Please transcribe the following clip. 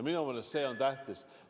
Minu meelest see on tähtis.